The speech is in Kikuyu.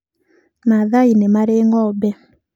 Maathai nĩ marĩ ng'ombe.